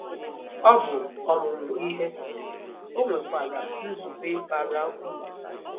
Ọ bụ ọmụmụ ihe, o nwekwara nzube bara uru.